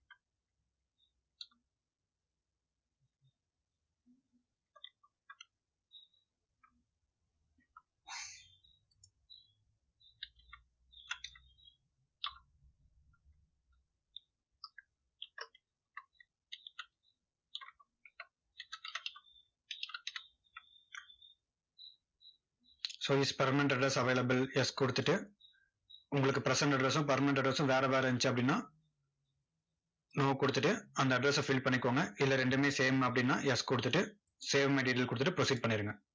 so is permanent address available yes கொடுத்துட்டு, உங்களுக்கு present address ம் permanent address ம் வேற வேற இருந்துச்சு அப்படின்னா, no கொடுத்துட்டு, அந்த address அ fill பண்ணிக்கோங்க. இல்ல ரெண்டுமே same அப்படின்னா yes கொடுத்துட்டு save my detail கொடுத்துட்டு proceed பண்ணிருங்க.